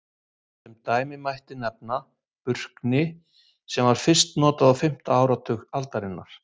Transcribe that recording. Sem dæmi mætti nefna Burkni sem fyrst var notað á fimmta áratug aldarinnar.